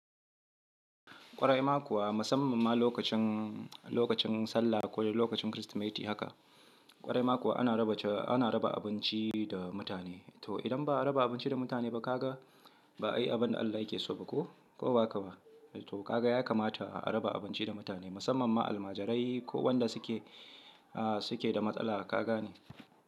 Ƙwarai ma kuwa musamman ma lokacin, lokacin Sallah ko dai lokacin Kirsimeti haka. Ƙwarai ma kuwa ana raba, ana raba abinci da mutane. To idan ba a raba abinci da mutane ba kaga ba ayi abin da Allah yake so ba ko, ko bahaka ba? To kaga ya kamata a raba abinci da mutane musamman ma almajirai ko wanda suke, ah suke da matsala kagane.